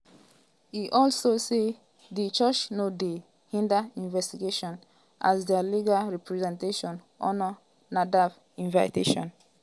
e also say di church no dey hinder investigation as dia legal representation honour nafdac invitation.